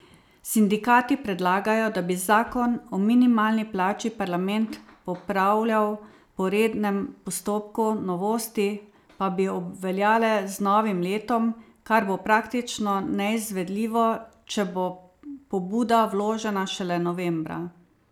Sindikati predlagajo, da bi zakon o minimalni plači parlament popravljal po rednem postopku, novosti pa bi obveljale z novim letom, kar bo praktično neizvedljivo, če bo pobuda vložena šele novembra.